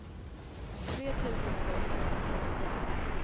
tre tusen tvåhundrafemtionio